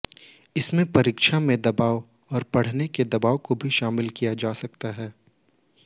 इसमें परीक्षा में दबाव और पढ़ाई के दबाव को भी शामिल किया जा सकता है